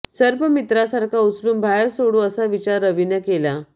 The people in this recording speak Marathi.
सर्प मित्रासारखा उचलून बाहेर सोडू असा विचार रवीनं केला